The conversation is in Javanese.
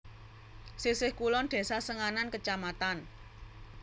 Sisih kulon Desa Senganan Kec